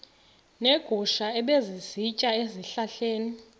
neegusha ebezisitya ezihlahleni